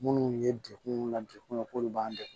Minnu ye degun mun na degun k'olu b'an deg